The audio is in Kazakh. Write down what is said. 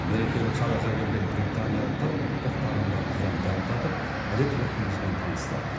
мерекелік шараға келген британиялықтар ұлттық тағамдарымыздан дәм татып әдет ғұрпымызбен танысты